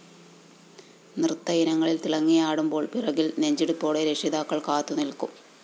നൃത്തയിനങ്ങള്‍ തിളങ്ങിയാടുമ്പോള്‍ പിറകില്‍ നെഞ്ചിടിപ്പോടെ രക്ഷിതാക്കള്‍ കാത്തു നില്‍ക്കും